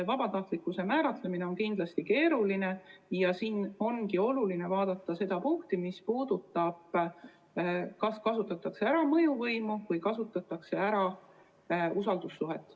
Vabatahtlikkuse määratlemine on kindlasti keeruline ja siin ongi oluline vaadata seda punkti, mis puudutab seda, kas kasutatakse ära mõjuvõimu või usaldussuhet.